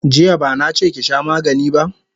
Jiya bana che ki sha magani ba!